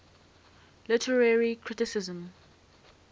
literary criticism